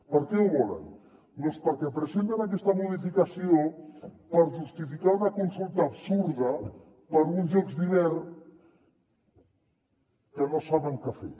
per què ho volen doncs perquè presenten aquesta modificació per justificar una consulta absurda per a uns jocs d’hivern que no saben què fer